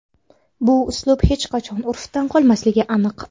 Bu uslub hech qachon urfdan qolmasligi aniq.